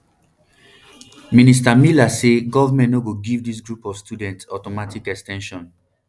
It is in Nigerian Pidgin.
minister miller say goment no go give dis group of students automatic ex ten sions